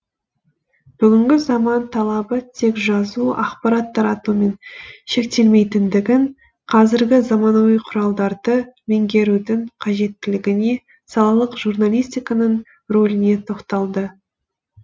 бүгінгі заман талабы тек жазу ақпарат таратумен шектелмейтіндігін қазіргі заманауи құралдарды меңгерудің қажеттілігіне салалық журналистиканың рөліне тоқталды